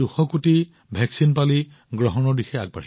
আমি প্ৰায় ২০০ কোটি প্ৰতিষেধক প্ৰদান কৰিছো